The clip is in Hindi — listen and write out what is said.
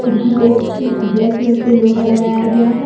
खिड़की पे उ ब्लैक कलर से लोहा लगाया गया है।